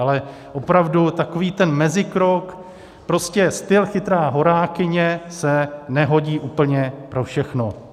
Ale opravdu takový ten mezikrok, prostě styl chytrá horákyně, se nehodí úplně pro všechno.